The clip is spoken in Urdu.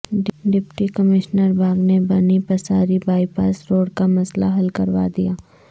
ڈپٹی کمشنر باغ نے Bani Pasari bypass road کا مسئلہ حل کروا دیا